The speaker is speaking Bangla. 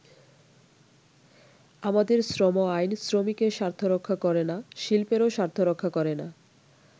“আমাদের শ্রম আইন শ্রমিকের স্বার্থ রক্ষা করেনা, শিল্পেরও স্বার্থ রক্ষা করেনা।